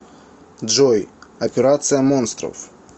джой операция монстров